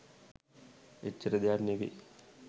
එච්චර දෙයක් නෙවෙයි.